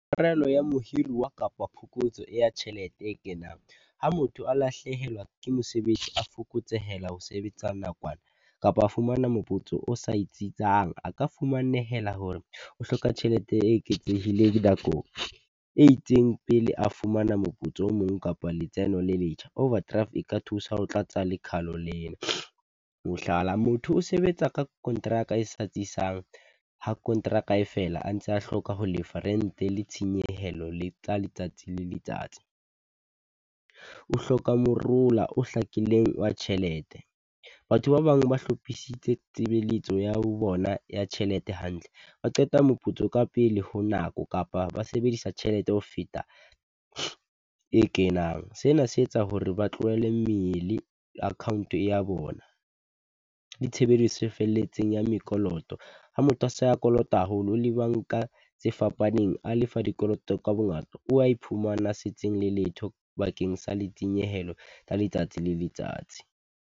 Tshwarelo ya mohiruwa kapa phokotso ya tjhelete e kenang, ha motho a lahlehelwa ke mosebetsi, a fokotsehela ho sebetsa nakwana, kapa a fumana moputso o sa itsitsang, a ka fumanehela hore o hloka tjhelete e eketsehileng nakong e itseng pele a fumana moputso o mong kapo letseno le letjha. Overdraft e ka thusa ho tlatsa lekhalo le na. Mohlala, motho o sebetsa ka kontraka e sa tsisang, ha kontraka e fela a ntse a hloka ho lefa, rent-e le tshenyehelo le tsa letsatsi le letsatsi. O hloka morola o hlakileng wa tjhelete. Batho ba bang ba hlophisitse tshebeletso ya ho bona ya tjhelete hantle, ba qeta moputso ka pele ho nako, kapa ba sebedisa tjhelete ho feta e kenang. Se na se etsa hore ba tlohele mmele account-e ya bona, le tshebediso e felletseng ya mekoloto. Ha motho a se a kolota haholo le banka tse fapaneng, a lefa dikoloto ka bongata, o wa iphumana setseng le letho bakeng sa letsenyehelo tsa letsatsi le letsatsi.